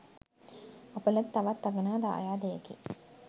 අප ලද තවත් අගනා දායාදයකි